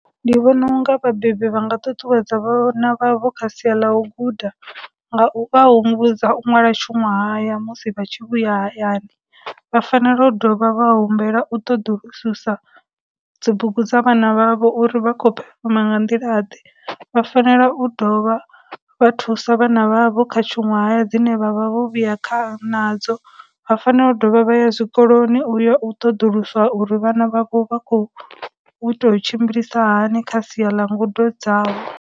Ndi vhona unga vhabebi vha nga ṱuṱuwedza vhana vha vho kha sia ḽa u guda nga u vha humbudza u ṅwala tshunwahaya musi vha tshi vhuya hayani, vha fanela u dovha vha humbela u ṱoḓulususa dzibugu dza vhana vha vho uri vha khou phefoma nga nḓila ḓe, vha fanela u dovha vha thusa vhana vha vho kha tshuṅwahaya dzine vha vha vho vhuya kha nadzo, vha fanela u dovha vha ya zwikoloni u ya u ṱoḓulusa uri vhana vha vho vha khou tou tshimbilisa hani kha sia ḽa ngudo dzavho.